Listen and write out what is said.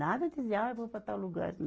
Nada de dizer, ah, vou para tal lugar assim.